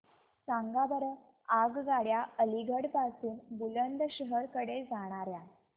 सांगा बरं आगगाड्या अलिगढ पासून बुलंदशहर कडे जाणाऱ्या